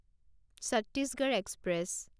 Chhattisgarh express